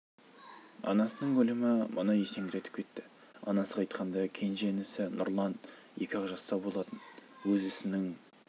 анасының өлімі мұны есеңгіретіп кетті анасы қайтқанда кенже інісі нұрлан екі ақ жаста болатын өз ісінің